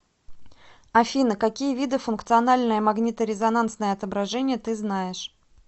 афина какие виды функциональное магниторезонансное отображение ты знаешь